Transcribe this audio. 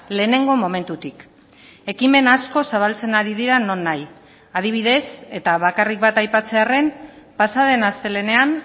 lehenengo momentutik ekimen asko zabaltzen ari dira non nahi adibidez eta bakarrik bat aipatzearren pasa den astelehenean